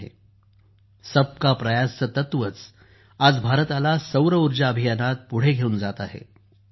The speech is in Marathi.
सर्वांचे प्रयत्न सबका प्रयास चे तत्वच आज भारताला सौरऊर्जा अभियानात पुढे घेऊन जात आहे